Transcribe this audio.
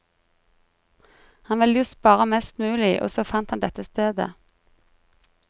Han vil jo spare mest mulig, og så fant han dette stedet.